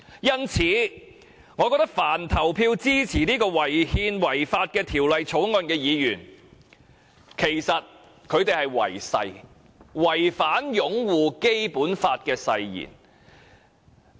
因此，我認為凡投票支持這項違憲、違法的《條例草案》的議員都是違誓，違反擁護《基本法》的誓言。